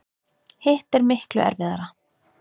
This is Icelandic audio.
Hitt er miklu erfiðara.